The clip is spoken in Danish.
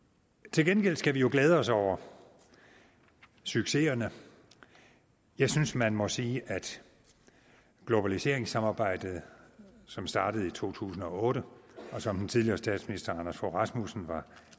til gengæld skal vi jo glæde os over succeserne jeg synes man må sige at globaliseringssamarbejdet som startede i to tusind og otte og som den tidligere statsminister anders fogh rasmussen var